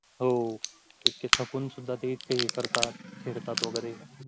हो इतके थकून सुद्धा ते करतात वगैरे